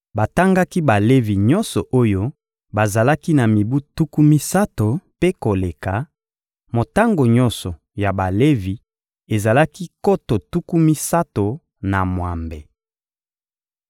Batangaki Balevi nyonso oyo bazalaki na mibu tuku misato mpe koleka: motango nyonso ya Balevi ezalaki nkoto tuku misato na mwambe.